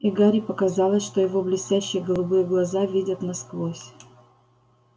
и гарри показалось что его блестящие голубые глаза видят насквозь